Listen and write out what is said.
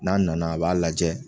N'a nana a b'a lajɛ